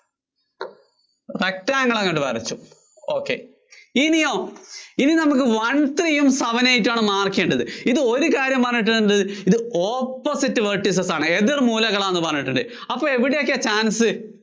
rectangle അങ്ങോട്ട് വരച്ചു. ok ഇനിയോ? ഇനി നമുക്ക് one three യും seven eight ഉം ആണ് mark ചെയ്യേണ്ടത്. ഇത് ഒരു കാര്യം പറയേണ്ടതുണ്ട്. ഇത് opposite vertices ആണ്. എതിര്‍ മൂലകളാണെന്ന് പറഞ്ഞിട്ടുണ്ട്. അപ്പോ അവിടെയൊക്കെയാ chance?